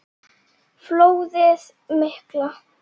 Flóðið mikla